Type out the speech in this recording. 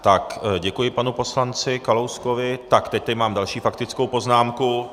Tak děkuji panu poslanci Kalouskovi, tak teď tady mám další faktickou poznámku.